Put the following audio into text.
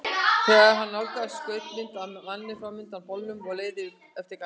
Þegar hann nálgaðist skaust mynd af manni fram undan bolnum og leið eftir garðinum.